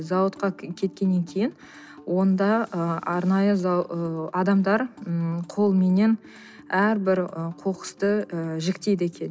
зауытқа кеткеннен кейін онда ы арнайы ы адамдар м қолменен әрбір ы қоқысты ы жіктейді екен